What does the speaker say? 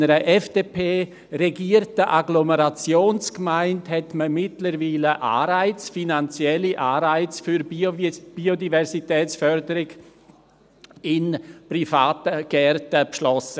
In einer FDP-regierten Agglomerationsgemeinde hat man mittlerweile finanzielle Anreize für Biodiversitätsförderung in privaten Gärten beschlossen.